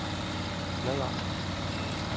bladr